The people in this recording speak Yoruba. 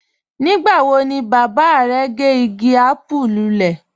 Nígbà wọ̀ ni baba rẹ̀ gẹ́ igi àpùú lúlẹ̀?